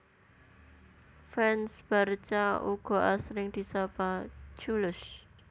Fans Barca uga asring disapa culés